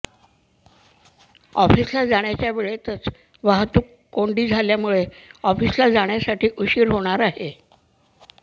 ऑफिसला जाण्याच्या वेळेतच वाहातुक कोंडी झाल्याने ऑफिसला जाण्यासाठी उशीर होणार आहे